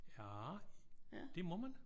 Ja? Det må man?